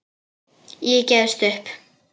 Ég gefst upp